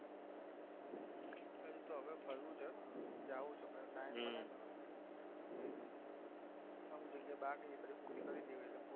હવે ફરવું છે હો જવું છે પણ time જોઈએ બાર ને બધે